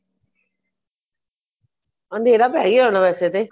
ਅੰਧੇਰਾ ਪੈ ਗਿਆ ਹੋਣਾ ਵੈਸੇ ਤੇ